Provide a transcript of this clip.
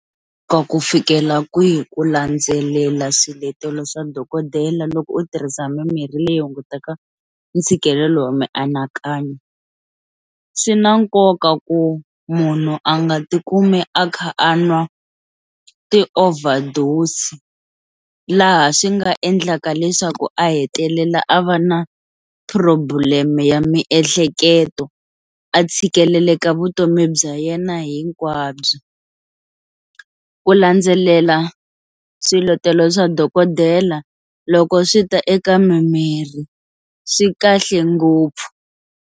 Ku fikela kwihi ku landzelela swiletelo swa dokodela loko u tirhisa mimirhi leyi hunguteka ntshikelelo wa mianakanyo, swi na nkoka ku munhu a nga tikumi a kha a nwa i ti-overdose laha swi nga endlaka leswaku a hetelela a va na problem ya miehleketo a tshikeleleka vutomi bya yena hinkwabyo, ku landzelela swiletelo swa dokodela loko swi ta eka mimirhi swi kahle ngopfu.